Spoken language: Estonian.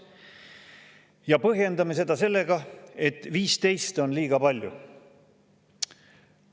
Ja põhjendame seda sellega, et 15 on liiga palju.